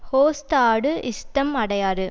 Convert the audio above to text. host ஆடு இஷ்டம் அடையாறு